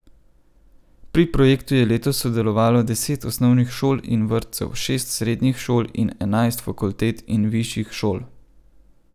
Pri projektu je letos sodelovalo deset osnovnih šol in vrtcev, šest srednjih šol in enajst fakultet in višjih šol.